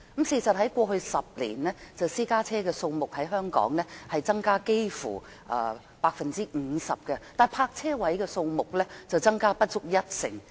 事實在過去10年，香港私家車的數目增加了幾乎 50%， 但泊車位的數目卻增加不足一成。